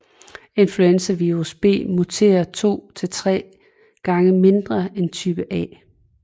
Influenzavirus B muterer 2 til 3 gange mindre end type A